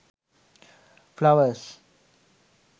flowers